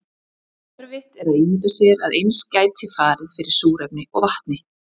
Erfitt er að ímynda sér að eins gæti farið fyrir súrefni og vatni.